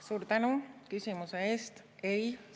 Suur tänu küsimuse eest!